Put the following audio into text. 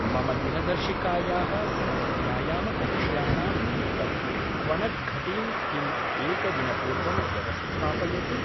मम दिनदर्शिकायाः सर्वव्यायामकक्ष्याणां निमित्तं क्वणद्घटीं किं एकदिनपूर्वं व्यवस्थापयति?